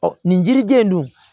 Ɔ nin yiriden don